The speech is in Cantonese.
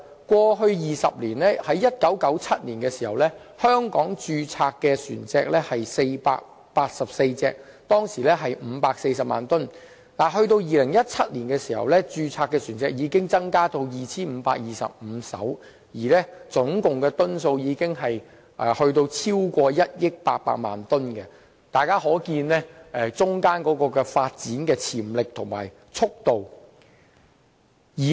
過去20年，於1997年在香港註冊的船隻有484艘，當時的總噸數為540萬噸，但於2017年在香港註冊的船隻已增至 2,525 艘，總噸數超過1億800萬噸，由此可見本港的航運業具相當發展潛力和速度。